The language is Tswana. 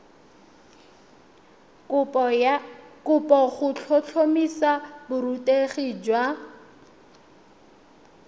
kopo go tlhotlhomisa borutegi jwa